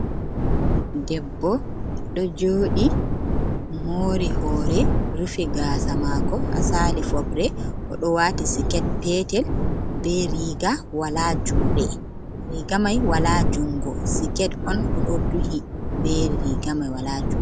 Debbo ɗo joɗi mori hore rufi gasa mako ha sali fobre, oɗo wati siket petel be riga wala juɗe rigamai wala jungo siket on oɗo duhi be riga mai wala juɗe.